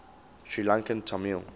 sri lankan tamil